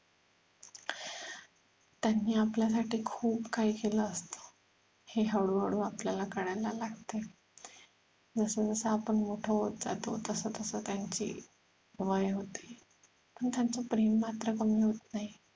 त्यांनी आपल्यासाठी खूप काही केल असत हे हळूहळू आपल्याला कळायला लागतंय जसजसं आपण मोठं होत जातो तसतसं त्यांची वय होते पण त्यांच प्रेम मात्र कमी होत नाही